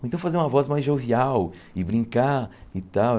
Ou então fazer uma voz mais jovial e brincar e tal.